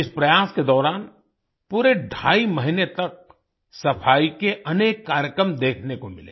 इस प्रयास के दौरान पूरे ढ़ाई महीने तक सफ़ाई के अनेक कार्यक्रम देखने को मिले